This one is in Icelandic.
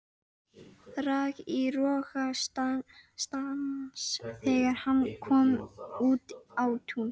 Rak í rogastans þegar hann kom út á Tún.